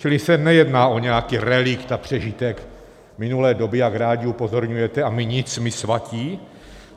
Čili se nejedná o nějaký relikt a přežitek minulé doby, jak rádi upozorňujete, a my nic, my svatí.